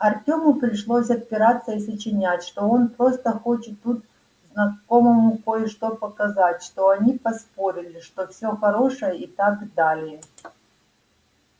артему пришлось отпираться и сочинять что он просто хочет тут знакомому кое-что показать что они поспорили что все хорошо и так далее